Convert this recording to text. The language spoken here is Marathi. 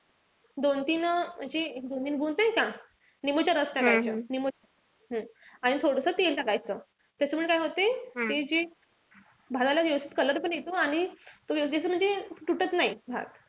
दोन-तीन म्हणजे निंबूच नाई का, निंबूच रस टाकायचं. आणि थोडस तेल टाकायचं. त्याच्यामुळे काय होते ते जे भाताला व्यवस्थित color पण येतो आणि तो व्यवस्थित म्हणजे तुटत नाही.